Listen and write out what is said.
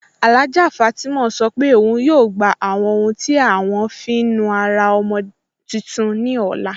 Alhájà Fátímà sọ́ pé ọun yóò gbà àwọn ọ̀hun tí à wọn fí nùárà ọ̀mọ̀ tuntun ní ọlá.